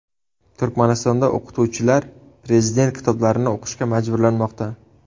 Turkmanistonda o‘qituvchilar prezident kitoblarini o‘qishga majburlanmoqda.